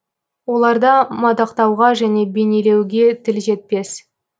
оларды мадақтауға және бейнелеуге тіл жетпес